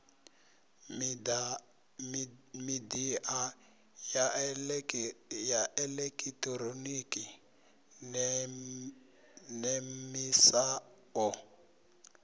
midia ya elekitironiki nemisa o